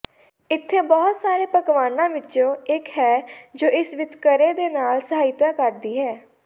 ਇੱਥੇ ਬਹੁਤ ਸਾਰੇ ਪਕਵਾਨਾਂ ਵਿੱਚੋਂ ਇੱਕ ਹੈ ਜੋ ਇਸ ਵਿਤਕਰੇ ਦੇ ਨਾਲ ਸਹਾਇਤਾ ਕਰਦੀ ਹੈ